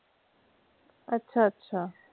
ਅੱਛਾ ਅੱਛਾ।